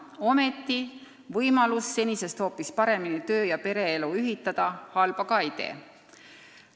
Aga võimalus senisest hoopis paremini töö- ja pereelu ühitada halba ka ei tee.